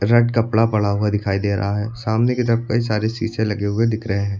Front कपड़ा पड़ा हुआ दिखाई दे रहा है सामने की तरफ कई सारे शीशे लगे हुए दिख रहे हैं।